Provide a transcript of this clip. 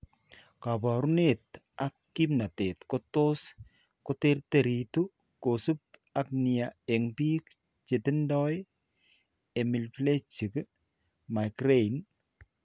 Kaabarunet ak kimnateet ko tos koterteritu ko subi nia eng' biik chetindo hemiplegic migraine.